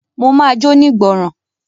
Mo ma jónígbọràn.